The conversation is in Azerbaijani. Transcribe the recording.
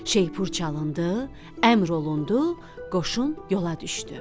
Şeypur çalındı, əmr olundu, qoşun yola düşdü.